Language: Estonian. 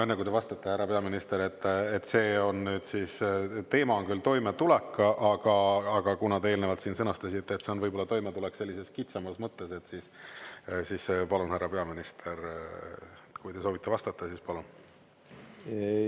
Enne kui te vastate, härra peaminister – see on nüüd siis, teema on küll toimetulek, aga kuna te eelnevalt siin sõnastasite, et see on võib-olla toimetulek sellises kitsamas mõttes, siis, palun, härra peaminister, kui te soovite vastata, siis, palun!